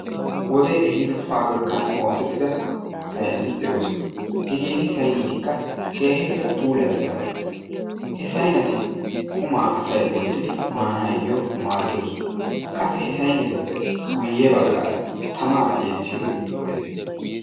wodee ehiido paabirkkaan oosettida sayneeti de'oosona. hegeeti saynnetika keehippe puulattidaageta. he sayneeti asay qumaa woottidi maanayoo maaddoosoa. qassi he saynnetuppe baggaara tamaa ettiyoogee de'ees.